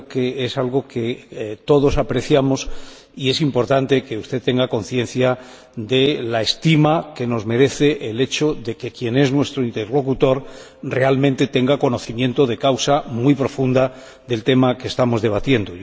Creo que es algo que todos apreciamos y es importante que usted tenga conciencia de la estima que nos merece el hecho de que quien es nuestro interlocutor tenga realmente un conocimiento muy profundo del tema que estamos debatiendo.